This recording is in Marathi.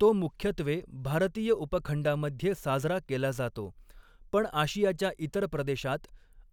तो मुख्यत्वे भारतीय उपखंडामध्ये साजरा केला जातो, पण आशियाच्या इतर प्रदेशांत